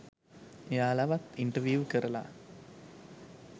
එයාලවත් interview කරලා